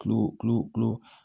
Kilo kilo kilo